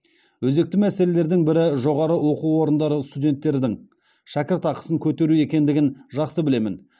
өзекті мәселелердің бірі жоғары оқу орындары студенттердің шәкіртақысын көтеру екендігін жақсы білемін